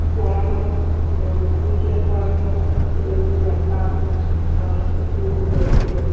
পড়ানো ওর tuition পড়ানো ছেলেমেয়েদের দেখা আরও অনেক কিছু রয়েছে